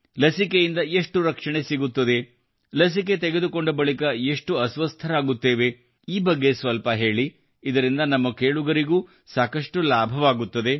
ಲಸಿಕೆಯಿಂದ ಎಷ್ಟು ರಕ್ಷಣೆ ಸಿಗುತ್ತದೆ ಲಸಿಕೆ ತೆಗೆದುಕೊಂಡ ಬಳಿಕ ಎಷ್ಟು ಅಸ್ವಸ್ಥರಾಗುತ್ತೇವೆ ಈ ಬಗ್ಗೆ ಸ್ವಲ್ಪ ಹೇಳಿ ಇದರಿಂದ ನಮ್ಮ ಕೇಳುಗರಿಗೂ ಸಾಕಷ್ಟು ಲಾಭವಾಗುತ್ತದೆ